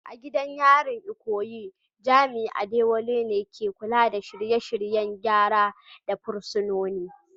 A gidan yarin Ikoyi, jami’in Adewale ne ke kula da shirye-shiryen gyara ga fursunoni